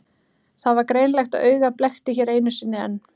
Það var greinilegt að augað blekkti hér einu sinni enn.